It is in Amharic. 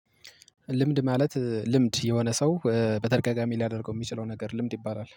ልምድ ማለት ልምድ የሆነ ሰው በተርጋጋሚ ሊያደርገው የሚችለው ነገር ልምድ ይባላል